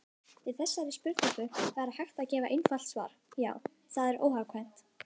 Við þessari spurningu væri hægt að gefa einfalt svar: Já, það er óhjákvæmilegt.